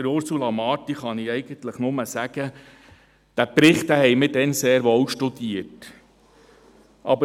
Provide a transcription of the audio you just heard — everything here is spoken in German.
Zu Ursula Marti kann ich nur sagen, dass wir diesen Bericht damals sehr wohl studiert haben.